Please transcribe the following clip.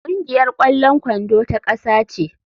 Kungiyar kwallon kwando ta kasa ce.